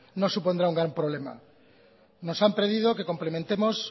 no supondrá un problema nos han pedido que complementemos